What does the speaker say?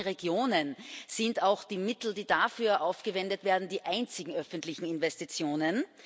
In manchen Regionen sind auch die Mittel, die dafür aufgewendet werden, die einzigen öffentlichen Investitionen.